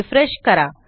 refresh करा